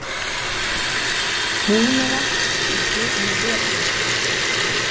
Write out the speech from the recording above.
Húnavatnssýslu, um vetur.